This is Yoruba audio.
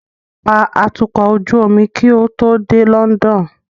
Pa atukọ̀ ojú omi kí o tó dé London